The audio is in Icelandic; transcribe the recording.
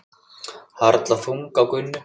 Harla þung á Gunnu.